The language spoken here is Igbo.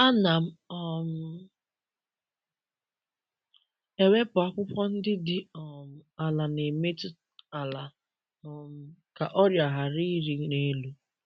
Ana m um ewepụ akwụkwọ ndị dị um ala na-emetụ ala um ka ọrịa ghara ịrị n’elu.